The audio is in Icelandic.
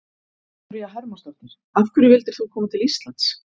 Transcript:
Viktoría Hermannsdóttir: Af hverju vildir þú koma til Íslands?